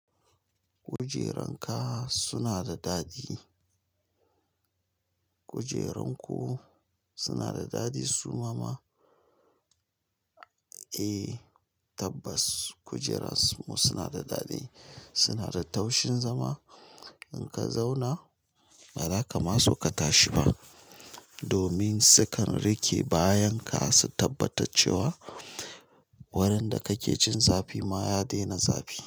Kujeranka suna da daɗi. Kujerun ku suna da daɗi suma ma? Eh tabbas kujerun su suna da daɗi, suna da taushin zama in ka zauna ba zaka ma so ka tashi ba domin sukan riƙe bayan ka su tabbatar cewa wurin da kake jin zafi ma ya daina zafi.